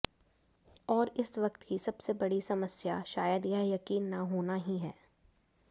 और इस वक्त की सबसे बड़ी समस्या शायद यह यकीन न होना ही है